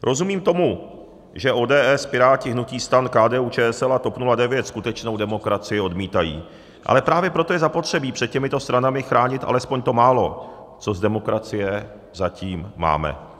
Rozumím tomu, že ODS, Piráti, hnutí STAN, KDU-ČSL a TOP 09 skutečnou demokracii odmítají, ale právě proto je zapotřebí před těmito stranami chránit alespoň to málo, co z demokracie zatím máme.